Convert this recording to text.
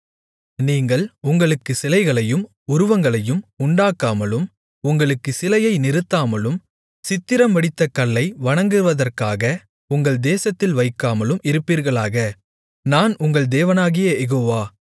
நீங்கள் உங்களுக்கு சிலைகளையும் உருவங்களையும் உண்டாக்காமலும் உங்களுக்குச் சிலையை நிறுத்தாமலும் சித்திரம்வடித்த கல்லை வணங்குவதற்காக உங்கள் தேசத்தில் வைக்காமலும் இருப்பீர்களாக நான் உங்கள் தேவனாகிய யெகோவா